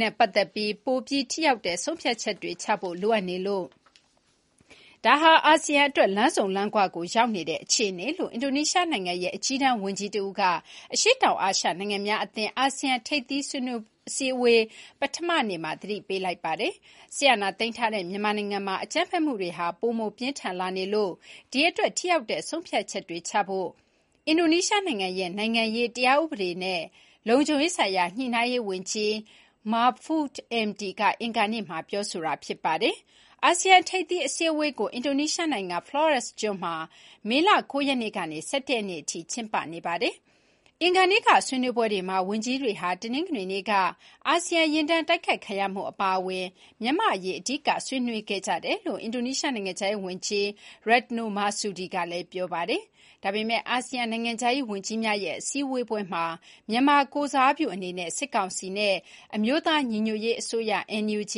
နဲ့ပတ်သက်ပြီး ပိုပြီးထိရောက်တဲ့ဆုံးဖြတ်ချက်တွေချဖို့ လိုအပ်နေလို့ ဒါဟာ အာဆီယံအတွက် ‘လမ်းဆုံလမ်းခွ’ ကိုရောက်နေတဲ့အခြေအနေလို့ အင်ဒိုနီးရှားနိုင်ငံရဲ့ အကြီးတန်းဝန်ကြီးတဦးက အရှေ့တောင်အာရှနိုင်ငံများအဖွဲ့ အာဆီယံထိပ်သီးအစည်းအဝေး ပထမနေ့မှာ သတိပေးလိုက်ပါတယ်။ စစ်အာဏာသိမ်းထားတဲ့ မြန်မာနိုင်ငံမှာ အကြမ်းဖက်မှုတွေဟာ ပိုမိုပြင်းထန်လာနေလို့ ဒီ့အတွက် ထိရောက်တဲ့ဆုံးဖြတ်ချက်တွေချဖို့ အင်ဒိုနီးရှားနိုင်ငံရဲ့ နိုင်ငံရေး၊ တရားဥပဒေနဲ့ လုံခြုံရေးဆိုင်ရာညှိနှိုင်းရေးဝန်ကြီး Mahfud MD က အင်္ဂါနေ့မှာ ပြောခဲ့တာပါ။ အာဆီယံထိပ်သီးအစည်းအဝေးကို အင်ဒိုနီးရှားနိုင်ငံ Flores ကျွန်းမှာ မေလ ၉ ရက် ကနေ ၁၁ ရက်အထိ ကျင်းပနေပါတယ်။ အင်္ဂါနေ့က ဆွေးနွေးပွဲတွေမှာ ဝန်ကြီးတွေဟာ တနင်္ဂနွေနေ့က မြန်မာနိုင်ငံအတွင်း အာဆီယံယာဉ်တန်းတိုက်ခိုက်ခံရမှုအပါအဝင် မြန်မာ့အရေးကို အဓိက ဆွေးနွေးခဲ့ကြတယ်လို့ အင်ဒိုနီးရှားနိုင်ငံခြားရေးဝန်ကြီး Retno Marsudi ကလည်းပြောပါတယ်။ ဒါပေမယ့် အာဆီယံ နိုင်ငံခြားရေးဝန်ကြီးများရဲ့အစည်းအဝေးပွဲမှာ မြန်မာကိုယ်စားပြုအနေနဲ့ စစ်ကောင်စီဘက်နဲ့ အမျိုးသားညီညွတ်ရေး အစိုးရ (NUG)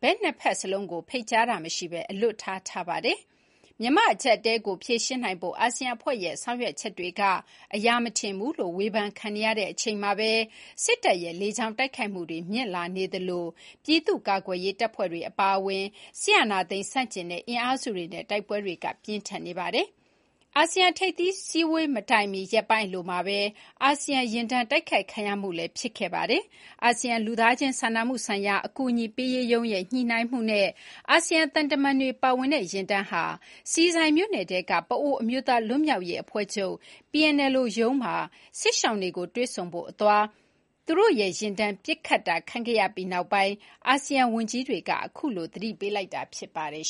ဘက် နှစ်ဘက်စလုံးကို ဖိတ်ကြားတာမရှိဘဲ အလွတ်ထား, ထားပါတယ်။ မြန်မာ့အကျပ်အတည်းကိုဖြေရှင်းနိုင်ဖို့ အာဆီယံအဖွဲ့ရဲ့ဆောင်ရွက်ချက်တွေက အရာမထင်ဘူးလို့ ဝေဖန်ခံနေရချိန်မှာပဲ စစ်တပ်ရဲ့လေကြောင်းတိုက်ခိုက်မှုတွေ မြင့်လာနေသလို ပြည်သူ့ကာကွယ်ရေးတပ်ဖွဲ့တွေအပါအဝင် စစ်အာဏာသိမ်းဆန့်ကျင်တဲ့ အင်အားစုတွေနဲ့ တိုက်ပွဲတွေက ပြင်းထန်နေပါတယ်။ အာဆီယံထိပ်သီးအစည်းအဝေးမတိုင်မီ ရက်ပိုင်းအလိုမှာပဲ အာဆီယံယာဉ်တန်းတိုက်ခိုက်ခံရမှုတခု ဖြစ်ပွားခဲ့တာပါ။ အာဆီယံလူသားချင်းစာနာမှုဆိုင်ရာ အကူအညီပေးရေးရုံးရဲ့ ညှိနှိုင်းမှုနဲ့ အာဆီယံသံတမန်တွေပါဝင်တဲ့ယာဉ်တန်းဟာ ဆီဆိုင်မြို့နယ်ထဲက ပအိုဝ်းအမျိုးသား လွတ်မြောက်ရေးအဖွဲ့ချုပ် (PNLO) ရုံးမှာ စစ်ရှောင်တွေကိုတွေ့ဆုံဖို့အသွားမှာ သူတို့ရဲ့ယာဉ်တန်း ပစ်ခတ်တာခံခဲ့ရပြီးနောက်ပိုင်း အာဆီယံဝန်ကြီးတွေက အခုလို သတိပေးလိုက်တာလည်း ဖြစ်ပါတယ်